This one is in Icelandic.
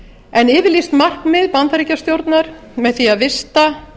en yfirlýst markmið bandaríkjastjórnar með því að vista